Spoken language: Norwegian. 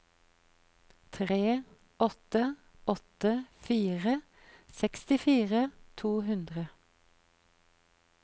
tre åtte åtte fire sekstifire to hundre